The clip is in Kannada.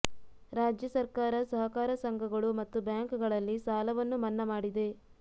ರಾಜ್ಯ ಸರ್ಕಾರ ಸಹಕಾರ ಸಂಘಗಳು ಮತ್ತು ಬ್ಯಾಂಕ್ಗಳಲ್ಲಿ ಸಾಲವನ್ನು ಮನ್ನಾ ಮಾಡಿದೆ